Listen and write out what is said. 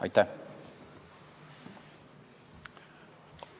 Aitäh!